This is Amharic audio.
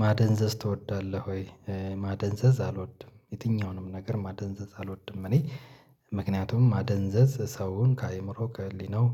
"ማደንዘዝ ትወዳለህ ወይ?" ማደንዘዝ አልወድም። የትኛውንም ነገር ማደንዘዝ አልወድም እኔ ምክንያቱም ማደንዘዝ ሰውን ከአእምሮ፣ ከህሊናው፣